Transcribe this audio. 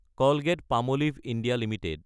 Colgate-Palmolive (India) Ltd